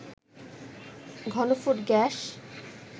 ঘনফুট gas